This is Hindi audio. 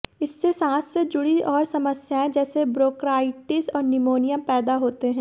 इससे सांस से जुड़ी और समस्याएं जैसे ब्रोंकाइटिस और निमोनिया पैदा होते हैं